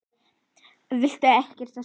Viltu ekkert segja?